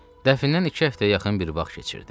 Dəfnən iki həftəyə yaxın bir vaxt keçirdi.